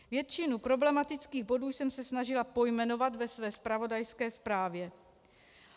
Většinu problematických bodů jsem se snažila pojmenovat ve své zpravodajské zprávě.